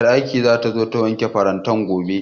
Ƴar aikin zata zo ta wanke farantan gobe